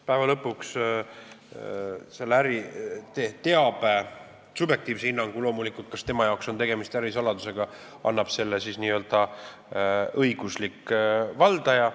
Päeva lõpuks annab subjektiivse hinnangu, kas tema jaoks on tegemist ärisaladusega, loomulikult selle teabe n-ö õiguslik valdaja.